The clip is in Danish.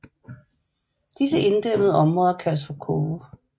Disse inddæmmede områder kaldes for koge